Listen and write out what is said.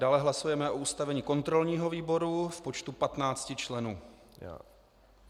Dále hlasujeme o ustavení kontrolního výboru v počtu 15 členů.